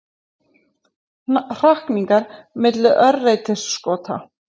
Hrakningar milli örreytiskota.